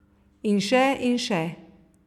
In še in še.